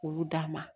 K'olu d'a ma